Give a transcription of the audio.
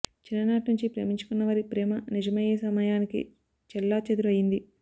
చిన్ననాటి నుంచీ ప్రేమించుకున్న వారి ప్రేమ నిజమయ్యే సమయానికి చెల్లాచెదురు అయ్యింది